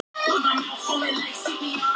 Hamast alveg á fótstigunum!